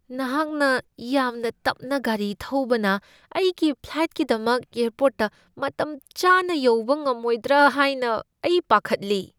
ꯅꯍꯥꯛꯅ ꯌꯥꯝꯅ ꯇꯞꯅ ꯒꯥꯔꯤ ꯊꯧꯕꯅ ꯑꯩꯒꯤ ꯐ꯭ꯂꯥꯏꯠꯀꯤꯗꯃꯛ ꯑꯦꯔꯄꯣꯔꯠꯇ ꯃꯇꯝ ꯆꯥꯅ ꯌꯧꯕ ꯉꯝꯃꯣꯏꯗꯔꯥ ꯍꯥꯏꯅ ꯑꯩ ꯄꯥꯈꯠꯂꯤ꯫